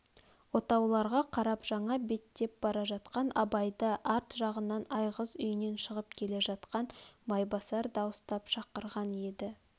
отауларға қарап жаңа беттеп бара жатқан абайды арт жағынан айғыз үйінен шығып келе жатқан майбасар дауыстап шақырған еді